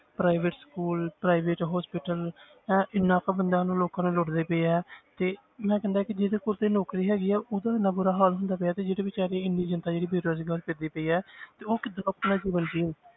Private school, private hospital ਇਹ ਇੰਨਾ ਕੁ ਬੰਦਿਆਂ ਨੂੰ ਲੋਕਾਂ ਨੂੰ ਲੁੱਟਦੇ ਪਏ ਹੈ ਤੇ ਮੈਂ ਕਹਿੰਦਾ ਕਿ ਜਿਹਦੇ ਕੋਲ ਤੇ ਨੌਕਰੀ ਹੈਗੀ ਹੈ ਉਹਦਾ ਇੰਨਾ ਬੁਰਾ ਹਾਲ ਹੁੰਦਾ ਪਿਆ ਤੇ ਜਿਹੜੀ ਬੇਚਾਰੀ ਇੰਨੀ ਜਨਤਾ ਜਿਹੜੀ ਬੇਰੁਜ਼ਗਾਰ ਫਿਰਦੀ ਪਈ ਹੈ ਤੇ ਉਹ ਕਿੱਦਾਂ